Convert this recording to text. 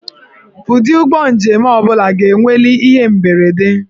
Ụdị ụgbọ njem ọ bụla ga-enweli ihe mberede.